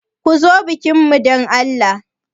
Ku zo bikin mu dan Allah.